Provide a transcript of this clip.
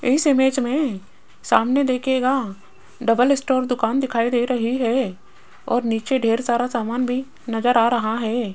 इस इमेज में सामने देखिएगा डबल स्टोर दुकान दिखाई दे रही है और नीचे ढेर सारा सामान भी नजर आ रहा है।